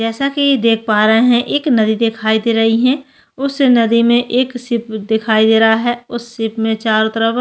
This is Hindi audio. जैसा की देख पा रहे है एक नदी दिखाई दे रही है उस नदी में एक शिप दिखाई दे रहा है उस शिप में चारों तरफ --